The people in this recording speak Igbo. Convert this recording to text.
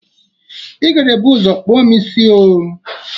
Ị ga-ebu ụzọ kpụọ m isi oo!